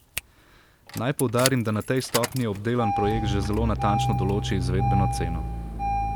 Naj poudarim, da na tej stopnji obdelan projekt že zelo natančno določi izvedbeno ceno.